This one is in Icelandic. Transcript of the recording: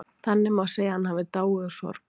Þannig má segja að hann hafi dáið úr sorg.